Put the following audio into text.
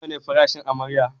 Nawa ne farashin amarya?